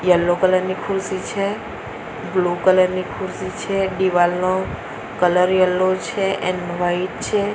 Yellow colour ની ખુરશી છે બ્લુ કલર ની ખુશી છે દિવાલનો કલર યેલો છે એન્ડ વાઈટ છે.